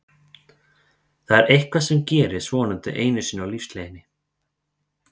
Það er eitthvað sem gerist vonandi einu sinni á lífsleiðinni.